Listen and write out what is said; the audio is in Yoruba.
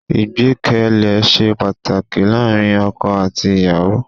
Ìgbẹ́kẹ̀lé ṣe pàtàkì láàárín ọkọ àti ìyàwó.